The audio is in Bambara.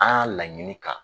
An y'a laɲini ka